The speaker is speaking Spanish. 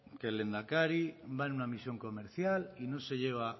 que el lehendakari va a una misión comercial y no se lleva